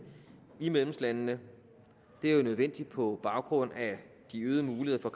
i medlemslandene det er jo nødvendigt på baggrund af de øgede muligheder